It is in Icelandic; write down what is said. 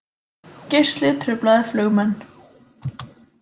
Geisli truflaði flugmenn